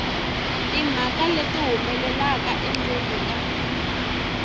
timhaka leti humelelaka endzeni ka